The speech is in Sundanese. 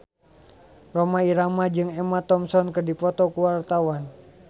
Rhoma Irama jeung Emma Thompson keur dipoto ku wartawan